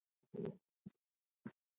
Þar höfum við mikil gæði.